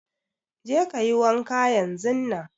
Je kayi wanka yanzun nan!